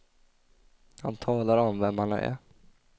Han talar om vem han är.